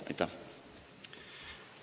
Aitäh!